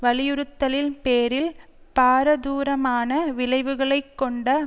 வலியுறுத்தலின் பேரில் பாரதூரமான விளைவுகளை கொண்ட